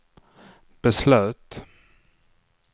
beslöt